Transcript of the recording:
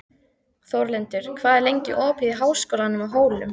Þórlindur, hvað er lengi opið í Háskólanum á Hólum?